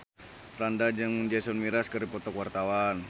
Franda jeung Jason Mraz keur dipoto ku wartawan